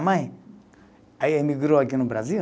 Mãe, aí emigrou aqui no Brasil.